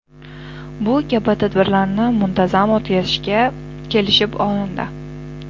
Bu kabi tadbirlarni muntazam o‘tkazishga kelishib olindi.